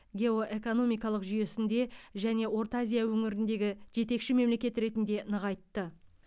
геоэкономикалық жүйесінде және орталық азия өңіріндегі жетекші мемлекет ретінде нығайтты